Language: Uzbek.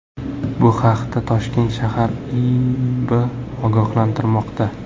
Bu haqda Toshkent shahar IIBB ogohlantirmoqda .